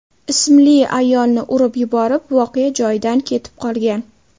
ismli ayolni urib yuborib, voqea joyidan ketib qolgan.